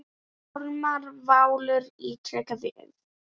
Ármann Valur ítrekar við